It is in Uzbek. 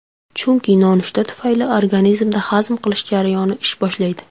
Chunki nonushta tufayli organizmda hazm qilish jarayoni ish boshlaydi.